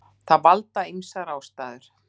Þessu valda ýmsar ástæður.